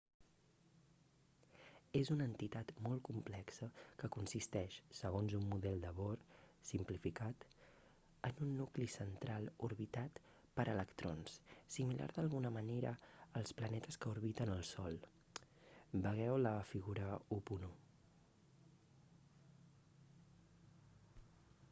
és una entitat molt complexa que consisteix segons un model de bohr simplificat en un nucli central orbitat per electrons similar d'alguna manera als planetes que orbiten el sol vegeu la figura 1.1